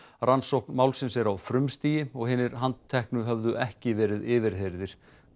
rannsókn málsins er á frumstigi og hinir handteknu höfðu ekki verið yfirheyrðir